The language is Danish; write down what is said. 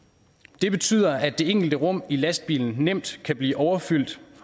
det betyder at det enkelte rum i lastbilen nemt kan blive overfyldt